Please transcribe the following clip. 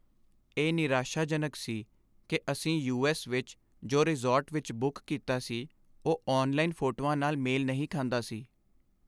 ਇਹ ਨਿਰਾਸ਼ਾਜਨਕ ਸੀ ਕਿ ਅਸੀਂ ਯੂ.ਐੱਸ. ਵਿੱਚ ਜੋ ਰਿਜ਼ੋਰਟ ਵਿੱਚ ਬੁੱਕ ਕੀਤਾ ਸੀ ਉਹ ਔਨਲਾਈਨ ਫੋਟੋਆਂ ਨਾਲ ਮੇਲ ਨਹੀਂ ਖਾਂਦਾ ਸੀ।